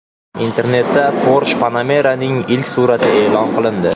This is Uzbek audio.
Internetda Porsche Panamera’ning ilk suratlari e’lon qilindi.